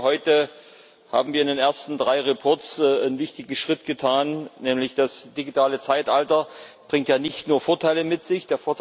Ich denke, heute haben wir in den ersten drei Berichten einen wichtigen Schritt getan, denn das digitale Zeitalter bringt ja nicht nur Vorteile mit sich.